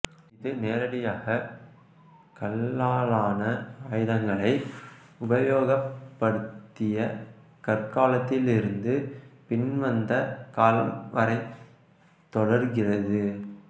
இது நேரடியாக கல்லாலான ஆயுதங்களை உபயோகப் படுத்திய கற்காலத்திலிருந்து பின்வந்த காலம் வரைத் தொடருகிறது